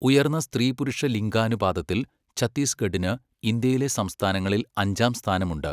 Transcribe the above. ഉയർന്ന സ്ത്രീ പുരുഷ ലിംഗാനുപാതത്തിൽ, ഛത്തിസ്ഗഡിന് ഇന്ത്യയിലെ സംസ്ഥാനങ്ങളിൽ അഞ്ചാം സ്ഥാനം ഉണ്ട് .